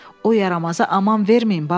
O yaramaza aman verməyin Bamble.